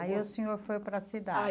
Aí o senhor foi para a cidade? Aí